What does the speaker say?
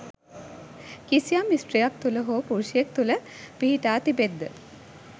කිසියම් ස්ත්‍රියක් තුළ හෝ පුරුෂයෙක් තුළ පිහිටා තිබෙත් ද